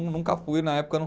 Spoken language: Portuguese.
Nunca fui na época, não